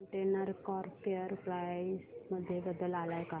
container corp share price मध्ये बदल आलाय का